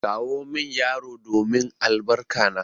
Kawo min yaro domin albarka na!